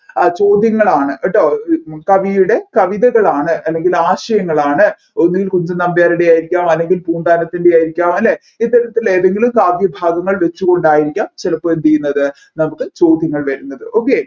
ആ ചോദ്യങ്ങളാണ് കേട്ടോ കവിയുടെ കവിതകലാണ് അല്ലെങ്കിൽ ആശയങ്ങളാണ് ഒന്നുകിൽ കുഞ്ചൻനമ്പ്യാരുടെ ആയിരിക്കാം അല്ലെങ്കിൽ പൂന്താനത്തിൻെറ ആയിരിക്കാം അല്ലെ ഇത്തരത്തിൽ ഏതെങ്കിലും കാവ്യഭാഗങ്ങൾ വെച്ച് കൊണ്ടായിരിക്കാം ചിലപ്പോ എന്ത് ചെയ്യുന്നത് നമ്മുക്ക് ചോദ്യങ്ങൾ വരുന്നത് okay